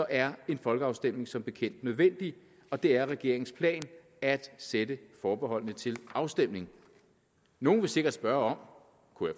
er en folkeafstemning som bekendt nødvendig og det er regeringens plan at sætte forbeholdene til afstemning nogle vil sikkert spørge om kunne